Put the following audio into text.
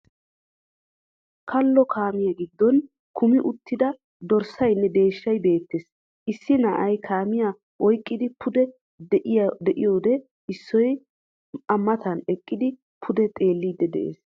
Kallo kaamiya giddon kumi uttidda dorssaynne deeshshay beettees. Issi na'ay kaamiya oyqidi pude gi'iyode issoy a matan eqqidi pude xeellidi de'ees.